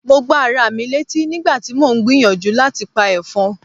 Mo gbá ara mi létí nígbà tí mò ń gbìyànjú láti pa ẹ̀fọn.